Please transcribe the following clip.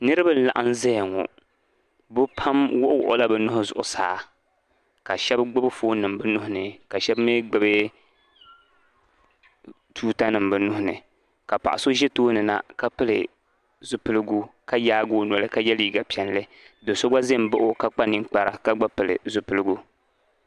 niriba n laɣim zaya ŋo bɛ pam wuɣi wuɣila bɛ nua zuɣusaa ka shɛbi gbibi foonnim bɛ nuhi ni ka shɛbi mi gbibi tuuta nima bɛ nuhi ni ka paɣa so ʒi tooni na ka pili zipilgu ka yaagi o noli ka ye liiga piɛlli doso gba za n baɣli o ka pili zipilgu